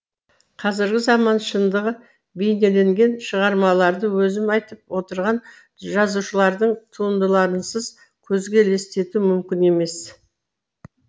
қазіргі заман шындығы бейнеленген шығармаларды өзім айтып отырған жазушылардың туындыларынсыз көзге елестету мүмкін емес